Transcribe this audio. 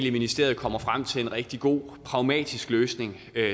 at ministeriet kommer frem til en rigtig god pragmatisk løsning